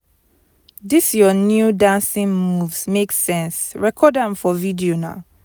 dis your new dancing moves make sense record am for video na